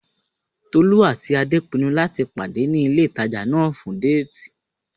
Tolú àti Adé pinnu láti pàdé ní ilé ìtajà náà fún déètì